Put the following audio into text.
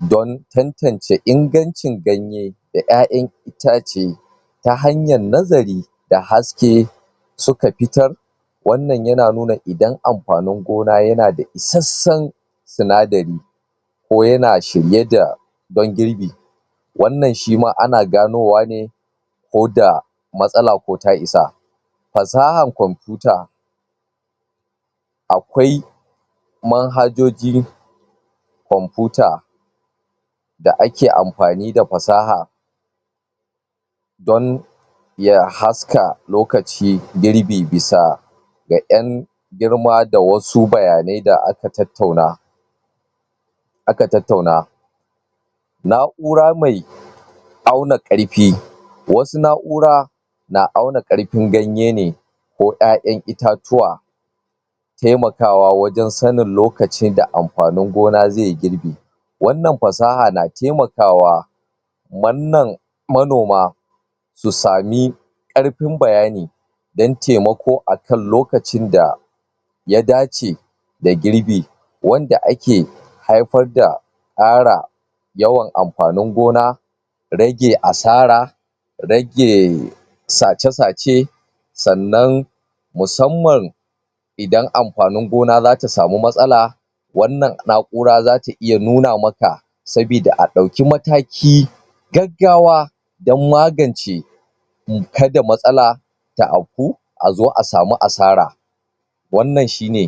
don tantance ingancin ganye da ƴaƴan itace ta hanyar nazari da haske su ka fitar wannan ya na nuna idan amfanin gona ya na da iseshen sinadari ko ya na shirye da ban girbi wannan shi ma ana ganowa ne ko da, matsala ko ta isa fasaha computa akwai manhajoji computa da ake amfani da fasaha don ya haska lokaci girbi bisa da en girma da wasu bayane da aka tautauna a ka tautauna naura mai auna karfi, wasu naura na auna karfin ganye ne ko ƴaƴan itatuwa taimakawa wajen sanin lokaci da amfanin gona zai yi girbi wannan fasaha na taimakawa manoma su sami, karfin bayani dan taimako a kan lokacin da ya dace, da girbi wanda ake, haifar da ara yawan amfanin gona rage asara, rage sace-sace, sannan musamman idan amfanin gona za ta samu matsala wannan naura za ta iya nuna ma ka sabida a dauki mataki gaggawa, dan magance mu ka da matsala a zo a samu asara wannan shi ne